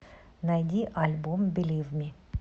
найди альбом билив ми